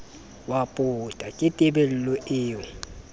wa pota ke tebello eo